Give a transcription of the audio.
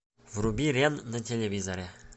вруби рен на телевизоре